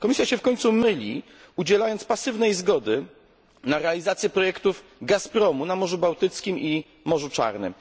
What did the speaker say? Komisja myli się ponadto, udzielając pasywnej zgody na realizację projektów Gazpromu na Morzu Bałtyckim i Morzu Czarnym.